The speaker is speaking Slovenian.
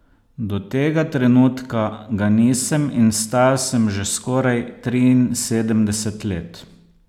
Do tega trenutka ga nisem in star sem že skoraj triinsedemdeset let.